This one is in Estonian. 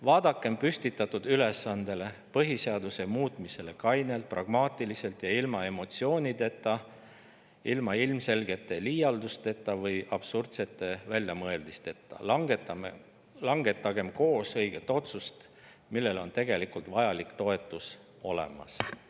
Vaadakem püstitatud ülesannet, põhiseaduse muutmist, kainelt, pragmaatiliselt ja ilma emotsioonideta, ilma ilmselgete liialdusteta või absurdsete väljamõeldisteta ja langetagem koos õige otsus, millel on vajalik toetus olemas.